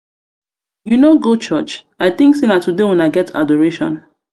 you no go churuch? i think say na today una get adoration.